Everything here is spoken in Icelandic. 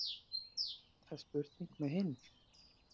Það er spurning með hinn.